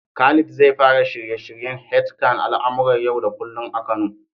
Khalid zai fara shirye-shiryen h kan al'amuran yau da kullum a Kano.